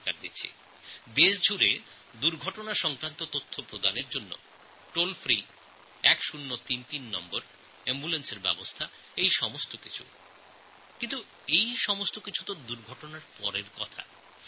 সারা দেশ জুড়ে আমি দুর্ঘটনার খবর দেওয়ার জন্য একটি টোলফ্রি নম্বর 1033এর ব্যবস্থা করেছি অ্যাম্বুলেন্সের ব্যবস্থা করেছি কিন্তু এই সব কিছুই দুর্ঘটনা ঘটে যাওয়ার পরবর্তী পদক্ষেপ